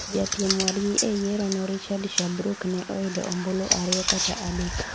Japiem wadgi e yiero no, Richard Sherbrook, ne oyudo ombulu ariyo kata adek.